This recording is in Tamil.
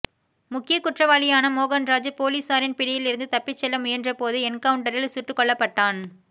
முக்கிய குற்றவாளியான மோகன்ராஜ் போலீசாரின் பிடியில் இருந்து தப்பிச்செல்ல முயன்றபோது என்கவுண்ட்டரில் சுட்டுக் கொல்லப்பட்டான்